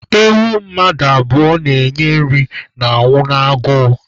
Ewu mmadụ abụọ na-enye nri na-anwụ n'agụụ